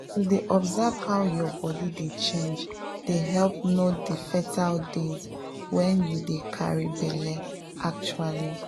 to dey observe how your body dey change dey help know the fertile days when you dey try carry belle actually.